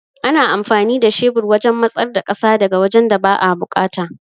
Ana amfani da shebur wajan matsar da ƙasa daga wajan da ba'a buƙata